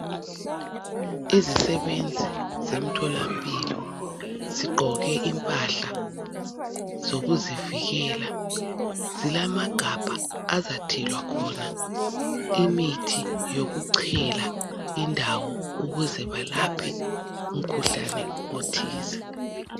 Izisebenzi zemtholampilo zigqoke impahla zokuzivikela zilamagabha azathelwa khona imithi yokuchela indawo ukuze balaphe umkhuhlane othize.